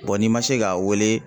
n'i ma se k'a weele